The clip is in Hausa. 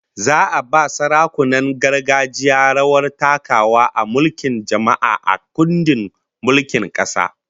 Za'a ba sarakunan gargajiya rawar takawa a mulkin jama'a, a kundin mulkin kasa